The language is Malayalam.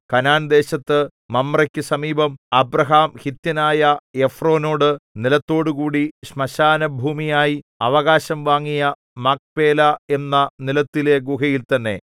കനാൻദേശത്തു മമ്രേക്കു സമീപം അബ്രാഹാം ഹിത്യനായ എഫ്രോനോടു നിലത്തോടുകൂടി ശ്മശാനഭൂമിയായി അവകാശം വാങ്ങിയ മക്പേലാ എന്ന നിലത്തിലെ ഗുഹയിൽ തന്നെ